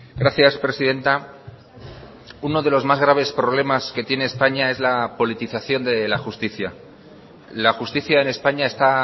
gracias presidenta uno de los más graves problemas que tiene españa es la politización de la justicia la justicia en españa está